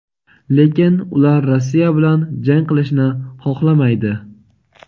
lekin ular Rossiya bilan jang qilishni xohlamaydi;.